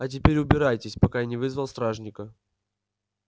а теперь убирайтесь пока я не вызвал стражника